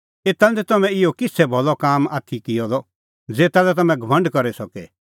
एता लै निं तम्हैं इहअ किछ़ै भलअ काम आथी किअ द ज़ेता लै तम्हैं घमंड करी सके